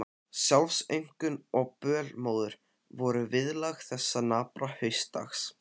Sjálfsaumkun og bölmóður voru viðlag þessa napra haustdags.